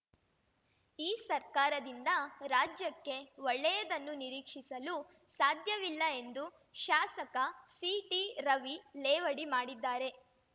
ಈ ಸರ್ಕಾರದಿಂದ ರಾಜ್ಯಕ್ಕೆ ಒಳ್ಳೆಯದನ್ನು ನಿರೀಕ್ಷಿಸಲು ಸಾಧ್ಯವಿಲ್ಲ ಎಂದು ಶಾಸಕ ಸಿಟಿ ರವಿ ಲೇವಡಿ ಮಾಡಿದ್ದಾರೆ